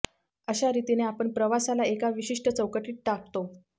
अशा रितीने आपण प्रवासाला एका विशिष्ट चौकटीत टाकतो